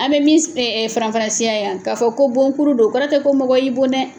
An bɛ min s faranfasiya yan, ka fɔ ko bon kuru don kɔrɔ tɛ ko mɔgɔ y'i bon dɛ.